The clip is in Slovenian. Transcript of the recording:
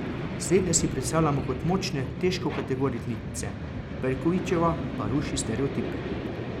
Slednje si predstavljamo kot močne težkokategornice, Perkovićeva pa ruši stereotipe.